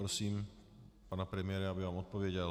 Prosím pana premiéra, aby vám odpověděl.